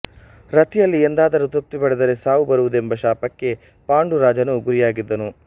ರತಿಯಲ್ಲಿ ಎಂದಾದರೂ ತೃಪ್ತಿ ಪಡೆದರೆ ಸಾವು ಬರುವುದೆಂಬ ಶಾಪಕ್ಕೆ ಪಾಂಡು ರಾಜನು ಗುರಿಯಾಗಿದ್ದನು